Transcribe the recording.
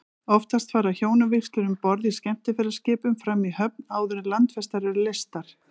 Oftast fara hjónavígslur um borð í skemmtiferðaskipum fram í höfn, áður en landfestar eru leystar.